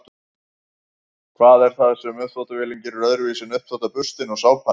hvað er það sem uppþvottavélin gerir öðruvísi en uppþvottaburstinn og sápan